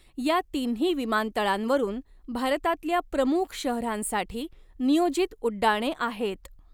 या तिन्ही विमानतळांवरून भारतातल्या प्रमुख शहरांसाठी नियोजित उड्डाणे आहेत.